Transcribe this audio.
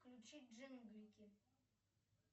включи джинглики